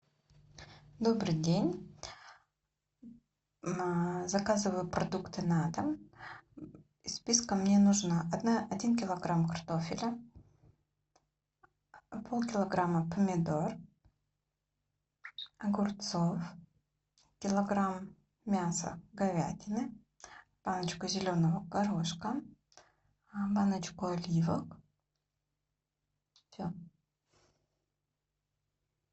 добрый день заказываю продукты на дом из списка мне нужно один килограмм картофеля полкилограмма помидор огурцов килограмм мяса говядины баночку зеленого горошка баночку оливок все